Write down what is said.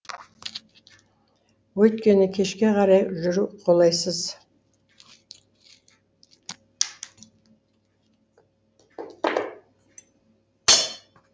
өйткені кешке қарай жүру қолайсыз